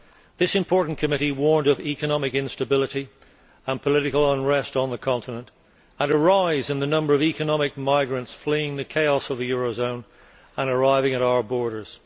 This important committee warned of economic instability, political unrest on the continent and a rise in the number of economic migrants fleeing the chaos of the eurozone and arriving at our borders.